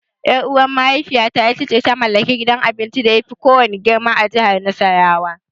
Ƴar'uwar mahaifiyata ita ce ta mallaki gidan abincin da yafi kowanne girma a jihar Nasarawa.